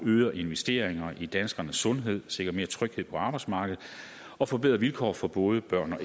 øger investeringerne i danskernes sundhed sikrer mere tryghed på arbejdsmarkedet og forbedrer vilkår for både børn